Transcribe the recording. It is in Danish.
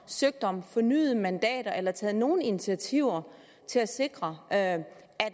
søgt om fornyede mandater eller taget nogen initiativer til at sikre at